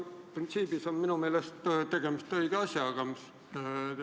Printsiibilt on minu meelest tegemist õige asjaga.